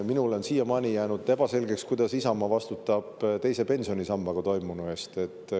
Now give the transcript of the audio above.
Minule on siiamaani jäänud ebaselgeks, kuidas Isamaa vastutab teise pensionisambaga toimunu eest.